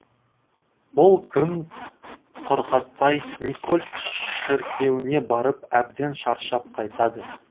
ол күн құрғатпай никольск шіркеуіне барып әбден шаршап қайтады